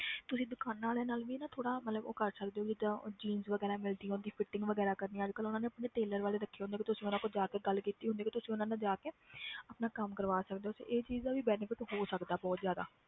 ਤੁਸੀਂ ਦੁਕਾਨਾਂ ਵਾਲਿਆਂ ਨਾਲ ਵੀ ਨਾ ਥੋੜ੍ਹਾ ਮਤਲਬ ਉਹ ਕਰ ਸਕਦੇ ਹੋ ਵੀ ਏਦਾਂ jeans ਵਗ਼ੈਰਾ ਮਿਲਦੀਆਂ ਉਹਦੀ fitting ਵਗ਼ੈਰਾ ਕਰਨੀ ਆਂ ਅੱਜ ਕੱਲ੍ਹ ਉਹਨਾਂ ਨੇ ਆਪਣੇ tailor ਵਾਲੇ ਰੱਖੇ ਹੁੰਦੇ ਆ ਵੀ ਤੁਸੀਂ ਉਹਨਾਂ ਕੋਲ ਜਾ ਕੇ ਗੱਲ ਕੀਤੀ ਹੁੰਦੀ ਵੀ ਤੁਸੀਂ ਉਹਨਾਂ ਨਾਲ ਜਾ ਕੇ ਆਪਣਾ ਕੰਮ ਕਰਵਾ ਸਕਦੇ ਹੋ ਤੇ ਇਹ ਚੀਜ਼ ਦਾ ਵੀ benefit ਹੋ ਸਕਦਾ ਬਹੁਤ ਜ਼ਿਆਦਾ।